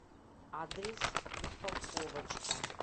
адрес упаковочка